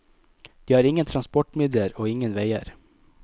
De har ingen transportmidler og ingen veier.